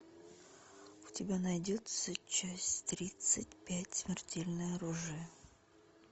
у тебя найдется часть тридцать пять смертельное оружие